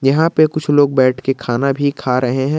यहां पे कुछ लोग बैठके खाना भी खा रहे हैं।